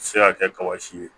Se ka kɛ kaba si ye